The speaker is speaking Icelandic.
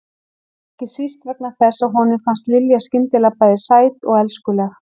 Ekki síst vegna þess að honum fannst Lilja skyndilega bæði sæt og elskuleg.